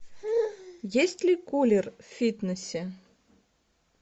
есть ли кулер в фитнесе